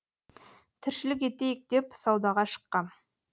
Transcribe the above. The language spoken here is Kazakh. тіршілік етейік деп саудаға шыққам